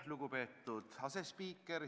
Lugupeetud asespiiker!